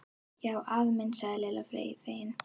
Já afi minn sagði Lilla fegin.